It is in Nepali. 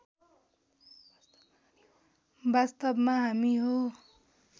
वास्तवमा हामी हो